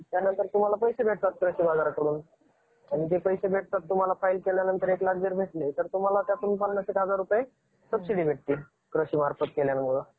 गणेश जयंती हा महाराष्ट्रामध्ये तसेच सर्वत्र भारतामध्ये अगदी उत्साहाने साजरा केला जाणारा सण आहे. या सणामध्ये गणपती बाप्पांची मूर्ती पाच किंवा सात दिवस पुजली जाते.